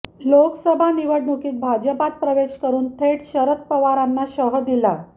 लोकसभा निवडणुकीत भाजपात प्रवेश करून थेट शरद पवारांना शह दिला